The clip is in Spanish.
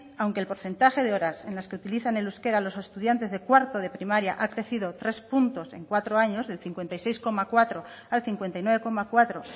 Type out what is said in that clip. aunque el porcentaje de horas en las que utilizan el euskera los estudiantes de cuarto de primaria ha crecido tres puntos en cuatro años del cincuenta y seis coma cuatro al cincuenta y nueve coma cuatro